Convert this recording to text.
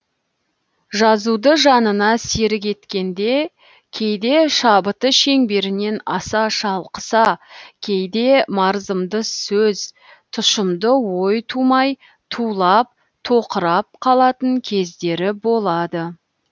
жазуды жанына серік еткенде кейде шабыты шеңберінен аса шалқыса кейде мардымды сөз тұшымды ой тумай тулап тоқырап қалатын кездері болады